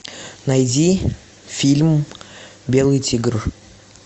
найди фильм белый тигр